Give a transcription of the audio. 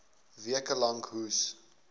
weke lank hoes